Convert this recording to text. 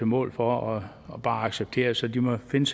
mål for og bare acceptere så de må finde